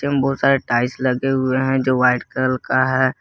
बहुत सारे टाइल्स लगे हुए हैं जो वाइट कल का है।